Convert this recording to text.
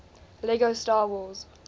lego star wars